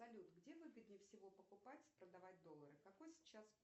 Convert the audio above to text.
салют где выгодней всего покупать и продавать доллары какой сейчас